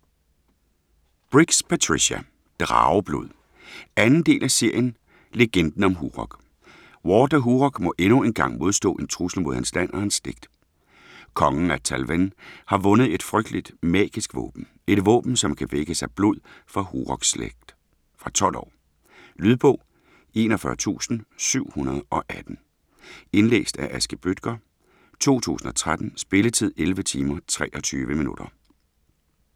Briggs, Patricia: Drageblod 2. del af serien Legenden om Hurog. Ward af Hurog må endnu en gang modstå en trussel mod hans land og hans slægt. Kongen af Tallven har fundet et frygteligt, magisk våben - et våben som kan vækkes af blod fra Hurogs slægt. Fra 12 år. Lydbog 41718 Indlæst af Aske Bøttger, 2013. Spilletid: 11 timer, 23 minutter.